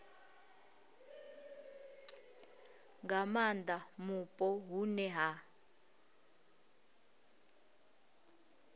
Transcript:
nga maanda mupo hune ha